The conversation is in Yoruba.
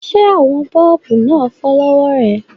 Ṣé àwọn bọ́ọ̀bù náà fọ́ lọ́wọ́ rẹ?